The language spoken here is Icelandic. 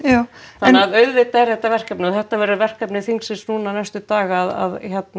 þannig að auðvitað er þetta verkefni og þetta verður verkefni þingsins núna næstu daga að